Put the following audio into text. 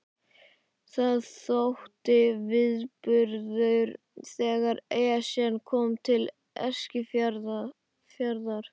Það þótti viðburður þegar Esjan kom til Eskifjarðar.